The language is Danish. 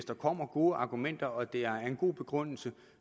der kommer gode argumenter og der er en god begrundelse